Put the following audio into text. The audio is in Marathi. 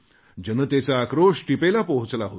जनतेचा आक्रोश टिपेला पोहोचला होता